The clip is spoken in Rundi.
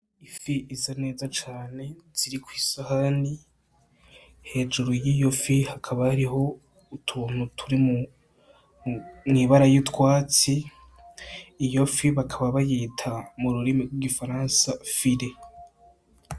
Ifi isa neza cane iri kw'isahani, hejuru y'iyo fi hakaba hariho utuntu turi mw'ibara ry'utwatsi, iyo fi bakaba bayita mu rurimi rw'igifaransa file.